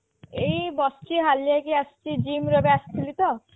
ଏଇ ବସିଛି ହାଲିଆ ହେଇକି ଆସିଛି gym ରୁ ଏବେ ଆସିଲି ତ